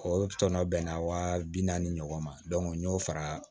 O tɔnɔ bɛnna wa bi naani ɲɔgɔn ma n'o fara